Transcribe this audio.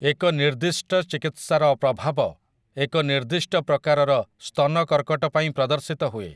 ଏକ ନିର୍ଦ୍ଦିଷ୍ଟ ଚିକିତ୍ସାର ପ୍ରଭାବ ଏକ ନିର୍ଦ୍ଦିଷ୍ଟ ପ୍ରକାରର ସ୍ତନ କର୍କଟ ପାଇଁ ପ୍ରଦର୍ଶିତ ହୁଏ ।